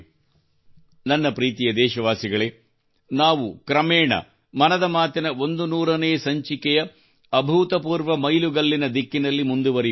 ನನ್ನ ಪ್ರೀತಿಯ ದೇಶವಾಸಿಗಳೇ ನಾವು ಕ್ರಮೇಣ ಮನದ ಮಾತಿನ 100 ನೇ ಸಂಚಿಕೆಯ ಅಭೂತಪೂರ್ವ ಮೈಲುಗಲ್ಲಿನ ದಿಕ್ಕಿನಲ್ಲಿ ಮುಂದುವರಿಯುತ್ತಿದ್ದೇವೆ